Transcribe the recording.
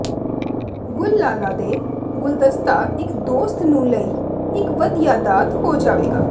ਗੁਲਲਾਲਾ ਦੇ ਗੁਲਦਸਤਾ ਇੱਕ ਦੋਸਤ ਨੂੰ ਲਈ ਇੱਕ ਵਧੀਆ ਦਾਤ ਹੋ ਜਾਵੇਗਾ